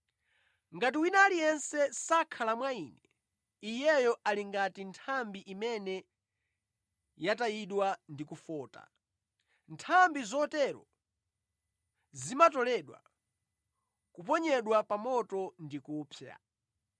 Ngati wina aliyense sakhala mwa Ine, iyeyo ali ngati nthambi imene yatayidwa ndi kufota. Nthambi zotero zimatoledwa, kuponyedwa pa moto ndi kupsa.